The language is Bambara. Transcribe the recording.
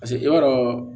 Paseke i b'a dɔn